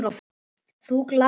Þú gladdir mig alltaf.